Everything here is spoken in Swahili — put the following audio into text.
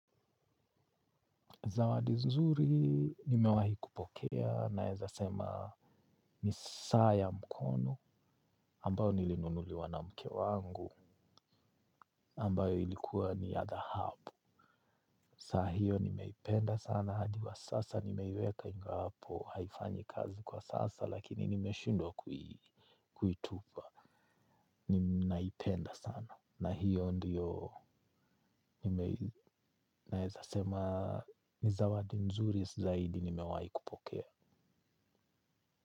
Zawadi nzuri nimewahi kupokea naeza sema ni sa ya mkono ambayo nilinunuliwa na mke wangu ambayo ilikuwa ni ya dhahabu. Saa hiyo nimeipenda sana hadi wa sasa nimeweka ingawahapo haifanyi kazi kwa sasa lakini nimeshundwa kuitupa. Ninaipenda sana na hiyo ndiyo naeza sema ni zawadi nzuri zaidi nimewahi kupokea.